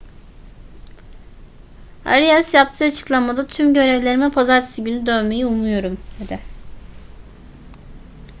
arias yaptığı açıklamada tüm görevlerime pazartesi günü dönmeyi umuyorum dedi